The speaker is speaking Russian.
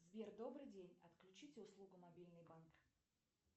сбер добрый день отключить услугу мобильный банк